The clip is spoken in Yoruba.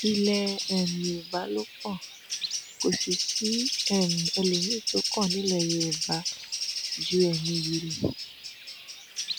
ilẹ um yorùbá ló kàn kò sì sí um ẹlòmíín tó kàn nílẹ yorùbá ju ẹmí yìí lọ